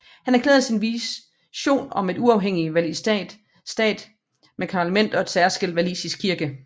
Han erklærede sin vision om en uafhænging walisisk stat med et parlament og en særskilt walisisk kirke